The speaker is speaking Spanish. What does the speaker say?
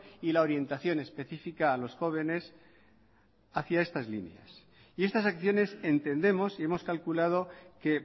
y la orientación especifica a los jóvenes hacia estas líneas y estas acciones entendemos y hemos calculado que